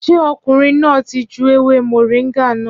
Ṣé ọkùnrin náà ti ju ewé Moringa náà?